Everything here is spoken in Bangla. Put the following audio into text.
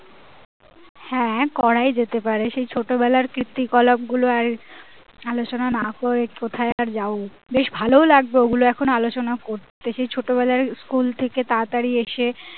হ্যাঁ করাই যেতে পারে সেই ছোট বেলার কৃতি কলাপ গুলো আর আলোচনা না করে কোথায় আর যাবো বেশ ভালোও লাগবে ওগুলো এখন আলোচনা করলে সেই ছোটবেলার school থেকে তাড়াতাড়ি এসেই